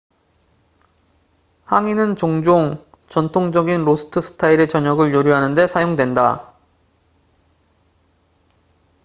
항이는 종종 전통적인 로스트 스타일의 저녁을 요리하는 데 사용된다